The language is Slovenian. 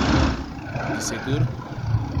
Deset ur?